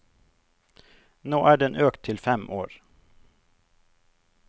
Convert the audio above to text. Nå er den økt til fem år.